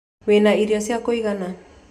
Wĩ na irio cia kũigana